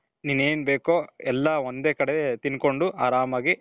ನೀನು ಏನ್ ಬೇಕೋ ಎಲ್ಲಾ ಒಂದೇ ಕಡೆ ತಿನ್ಕೊಂಡು ಆರಾಮಾಗಿ